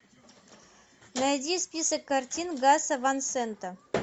найди список картин гаса ван сента